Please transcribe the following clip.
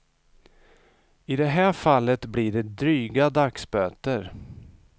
I det här fallet blir det dryga dagsböter.